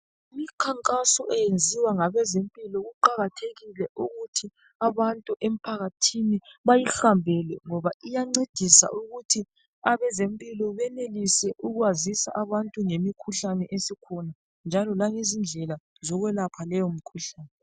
Imikhankaso eyenziwa ngabezempilo kuqakathekile ukuthi abantu emphakathini bayihambele ngoba iyancedisa ukuthi abezempilo benelise ukwazisa abantu ngemikhuhlane esikhona njalo langezindlela zokwelaphela leyomkhuhlane.